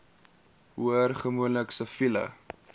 hoor gewoonlik siviele